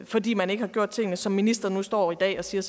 fordi man ikke har gjort tingene som ministeren nu står i dag og siger